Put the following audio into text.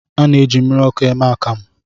A na-eji mmiriọkụ eme akamụ